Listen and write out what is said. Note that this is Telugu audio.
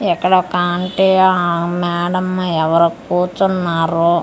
ఇక్కడ ఒక ఆంటీ అ మేడమ్ ఎవ్వరో కూర్చున్నారు కు--